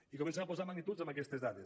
i comencem a posar magnituds en aquestes dades